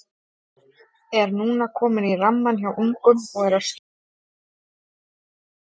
Er núna kominn í rammann hjá ungum og er að skila sinni vinnu vel þar.